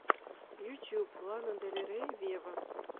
ютьюб лана дель рей вево